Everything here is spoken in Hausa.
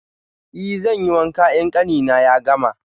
I, zanyi wanka in ƙanina ya gama.